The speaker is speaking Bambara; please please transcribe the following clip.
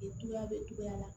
Juguya bɛ togoya la